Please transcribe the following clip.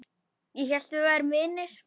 Ég hélt við værum vinir.